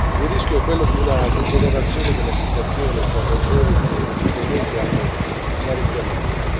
Il rischio è quello di una degenerazione della situazione per ragioni che i colleghi hanno già richiamato.